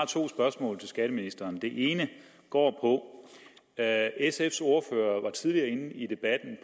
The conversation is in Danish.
to spørgsmål til skatteministeren det ene går på at sfs ordfører tidligere i debatten